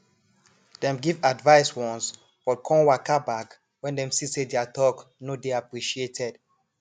dem give advice once but con waka back when dem see say their talk no dey appreciated